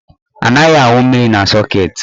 Anaghị awụ mmiri na sọket.